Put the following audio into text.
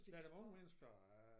Der er da unge mennesker øh